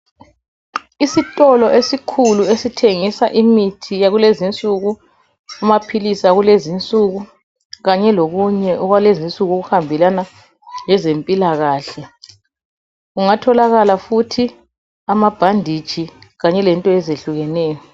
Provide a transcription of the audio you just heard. Isitolo esikhulu esithengisa imithi yakulezi nsuku amaphilisi akulezi nsuku kanye lokunye okwalezi nsuku okuhambelana lezempilakahle kungatholakala futhi amabhanditshi kanye lento ezehlukeneyo.